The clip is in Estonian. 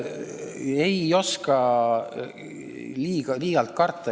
Ei oska liialt karta.